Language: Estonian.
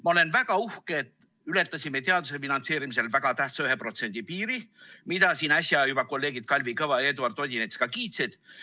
Ma olen väga uhke, et ületasime teaduse finantseerimisel väga tähtsa 1% piiri, mida siin äsja juba kolleegid Kalvi Kõva ja Eduard Odinets ka kiitsid.